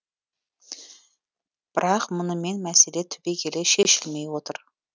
бірақ мұнымен мәселе түбегейлі шешілмей отыр